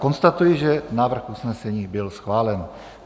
Konstatuji, že návrh usnesení byl schválen.